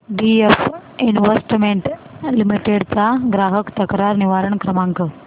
BF investment limited चा ग्राहक तक्रार निवारण क्रमांक